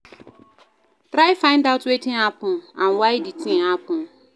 Try find out wetin happen and why di thing happen